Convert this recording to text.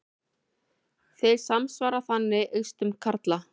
Þeir samsvara þannig eistum karla.